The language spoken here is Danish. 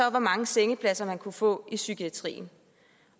og hvor mange sengepladser man kunne få i psykiatrien